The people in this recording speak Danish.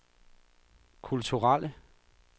kulturelle